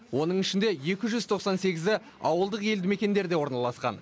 оның ішінде екі жүз тоқсан сегізі ауылдық елді мекендерде орналасқан